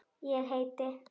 Ég heiti